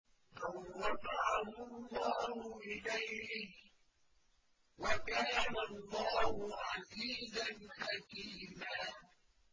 بَل رَّفَعَهُ اللَّهُ إِلَيْهِ ۚ وَكَانَ اللَّهُ عَزِيزًا حَكِيمًا